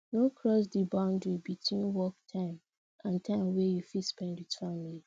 no cross the boundry between work time and time wey you fit spend with family